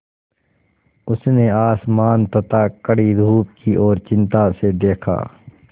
उसने आसमान तथा कड़ी धूप की ओर चिंता से देखा